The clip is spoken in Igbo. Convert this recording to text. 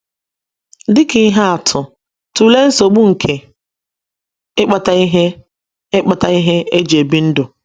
Dị ka ihe atụ, tụlee nsogbu nke ịkpata ihe ịkpata ihe e ji ebi ndụ.